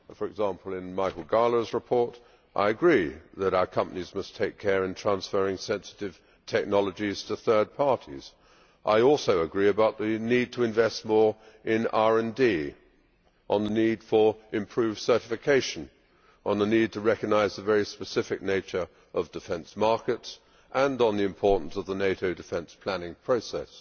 For example, in Michael Gahler's report, I agree that our companies must take care when transferring sensitive technologies to third parties. I also agree about the need to invest more in RD, the need for improved certification, the need to recognise the very specific nature of defence markets, and on the importance of the NATO defence planning process.